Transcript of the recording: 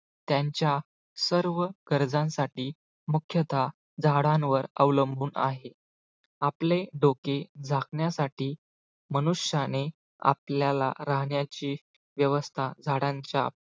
त्यांच्या सर्व कर्जांसाठी मुख्यतः झाडांवर अवलंबून आहे. आपले डोके झाकण्यासाठी मनुष्याने आपल्याला राहण्याची व्यवस्था झाडांच्या